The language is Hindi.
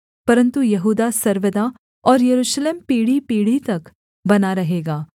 परन्तु यहूदा सर्वदा और यरूशलेम पीढ़ीपीढ़ी तक बना रहेगा